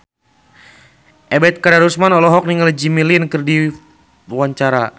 Ebet Kadarusman olohok ningali Jimmy Lin keur diwawancara